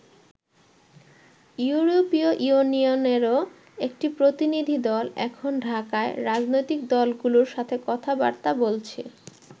ইউরোপীয় ইউনিয়নেরও একটি প্রতিনিধিদল এখন ঢাকায় রাজনৈতিক দলগুলোর সাথে কথা-বার্তা বলছে।